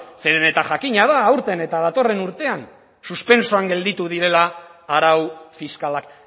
zere eta jakina da aurten eta datorren urtean suspentsoan gelditu direla arau fiskalak